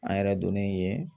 An yɛrɛ donnen yen